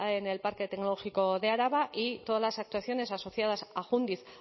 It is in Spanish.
en el parque tecnológico de araba y todas las actuaciones asociadas a jundiz